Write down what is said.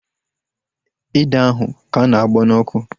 Ede ahụ ka na-agbọ n'ọkụ